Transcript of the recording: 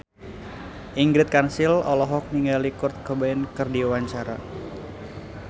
Ingrid Kansil olohok ningali Kurt Cobain keur diwawancara